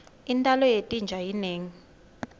intalo yetinja inengi